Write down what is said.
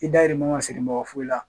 I dayirimɛ ma siri mɔgɔ foyi la